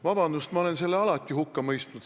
Vabandust, ma olen selle alati hukka mõistnud.